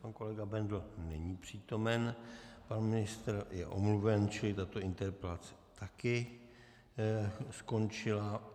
Pan kolega Bendl není přítomen, pan ministr je omluven, čili tato interpelace taky skončila.